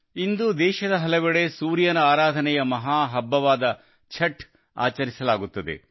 ಇಂದು ದೇಶದ ಹಲವೆಡೆ ಸೂರ್ಯನ ಆರಾಧನೆಯ ಮಹಾ ಹಬ್ಬವಾದ ಛಠ್ ಆಚರಿಸಲಾಗುತ್ತಿದೆ